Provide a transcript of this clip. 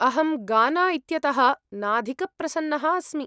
अहं गाना इत्यतः नाधिकप्रसन्नः अस्मि।